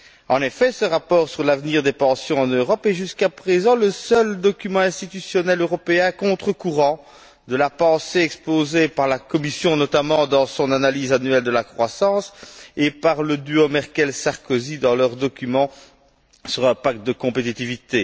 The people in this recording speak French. En effet, ce rapport sur l'avenir des pensions en Europe est jusqu'à présent le seul document institutionnel européen à contre courant de la pensée exposée par la Commission, notamment dans son analyse annuelle de la croissance, et par le duo Merkel Sarkozy dans leur document sur un pacte de compétitivité.